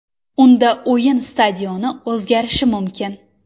Unda o‘yin stadioni o‘zgarishi mumkin.